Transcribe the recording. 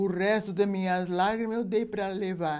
O resto das minhas lágrimas eu dei para levar.